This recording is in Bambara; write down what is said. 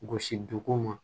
Gosi dugu ma